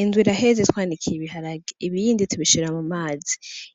Indwa iraheze twanikiye ibiharage ibiyindi tubishirra mu mazi